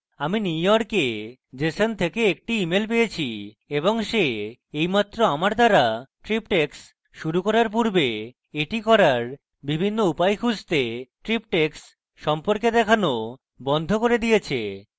আমি নিউইয়র্কে jeson থেকে একটি mail পেয়েছি এবং সে এইমাত্র আমার দ্বারা triptychs শুরু করার পূর্বে এটি করার বিভিন্ন উপায় খুঁজতে triptychs সম্পর্কে দেখানো বন্ধ করে দিয়েছে